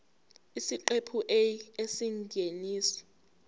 isiqephu a isingeniso